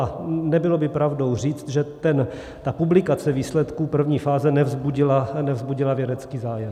A nebylo by pravdou říct, že ta publikace výsledků první fáze nevzbudila vědecký zájem.